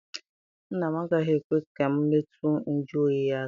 Nna m anaghị ekwe ka m metụ njụ oyi ya aka.